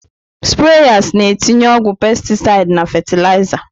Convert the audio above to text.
Spreyas na-etinye ọgwụ pestisid na fatịlaịza.